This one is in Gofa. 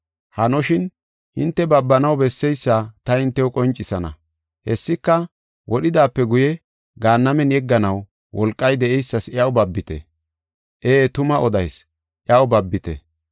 Hanoshin, hinte babanaw besseysa ta hintew qoncisana. Hessika wodhidaape guye Gaannamen yegganaw wolqay de7eysas iyaw babite. Ee, tuma odayis; iyaw babite.